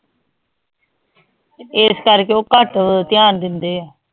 S ਕਰਕੇ ਓ ਘਟ ਧਯਾਨ ਦੇਂਦੇ ਆ